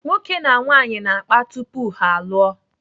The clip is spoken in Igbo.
Nwoke na nwaanyị na-akpa tupu ha alụọ.